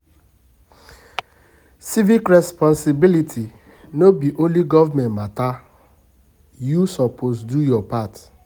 Civic responsibility no be only government mata; you suppose do your part